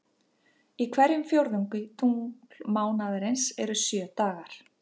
Í hverjum fjórðungi tunglmánaðarins eru um sjö dagar.